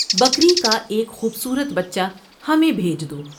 بکری کا ایک خوب صورت بچہ ہمیں بھیج دو ۔